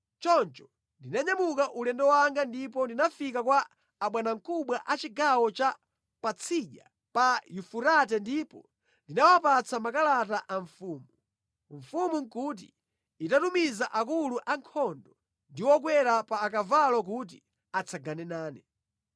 Choncho ndinanyamuka ulendo wanga ndipo ndinafika kwa abwanamkubwa a chigawo cha Patsidya pa Yufurate ndipo ndinawapatsa makalata a mfumu. Mfumu nʼkuti itatumiza akulu ankhondo ndi okwera pa akavalo kuti atsagane nane.